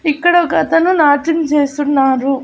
ఇక్కడ ఒక అతను నాట్యం చేస్తున్నారు.